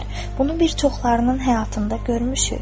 Bunu bir çoxlarının həyatında görmüşük.